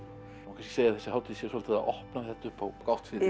að þessi hátíð sé svolítið að opna þetta upp á gátt